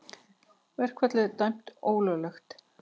Verkfallið dæmt ólöglegt